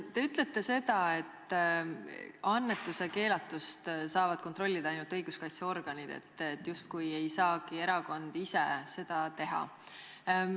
Te ütlete seda, et annetuse keelatust saavad kontrollida ainult õiguskaitseorganid, justkui erakond ise ei saagi seda teha.